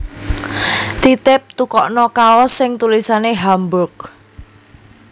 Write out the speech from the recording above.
Titip tukokno kaos sing tulisane Hamburg